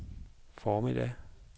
formiddag